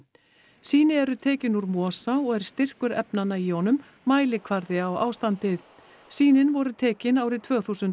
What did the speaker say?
sýni eru tekin úr mosa og er styrkur efnanna í honum mælikvarði á ástandið sýnin voru tekin árið tvö þúsund